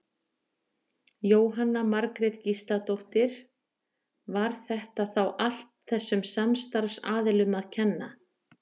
Jóhanna Margrét Gísladóttir: Var þetta þá allt þessum samstarfsaðilum að kenna?